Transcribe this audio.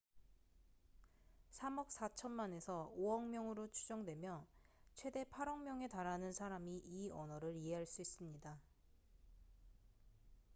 3억 4천만에서 5억 명으로 추정되며 최대 8억 명에 달하는 사람이 이 언어를 이해할 수 있습니다